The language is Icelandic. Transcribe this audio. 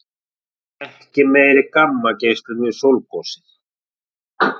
Ekki meiri gammageislun við sólgosið